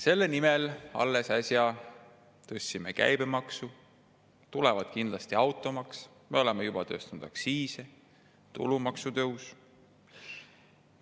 Selle nimel tõstsime äsja käibemaksu, kindlasti tuleb automaks, oleme juba tõstnud aktsiise, tõuseb tulumaks.